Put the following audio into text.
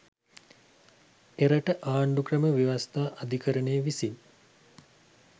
එරට ආණ්ඩුක්‍රම ව්‍යවස්ථා අධිකරණය විසින්